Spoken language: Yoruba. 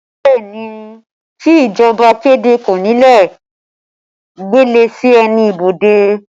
Bẹẹ ni, kí ìjọba kéde kónílé ó gbélé sí ẹnu ibodè